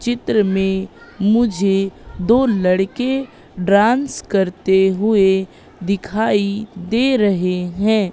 चित्र में मुझे दो लड़के डांस करते हुए दिखाई दे रहे हैं।